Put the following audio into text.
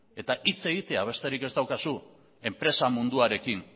eta hitz egitea besterik ez daukazu enpresa munduarekin